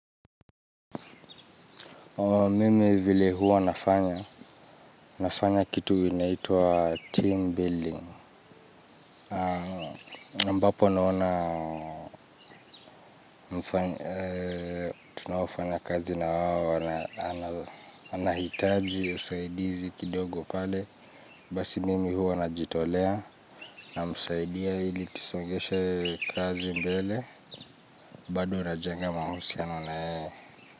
Mimi vile huwa nafanya, nafanya kitu inaitwa team building. Ambapo naona, tunaofanyakazi na wao, anahitaji, usaidizi kidogo pale. Basi mimi huwa najitolea, namsaidia ili tusongeshe kazi mbele, bado najenga mahusiano na yeye.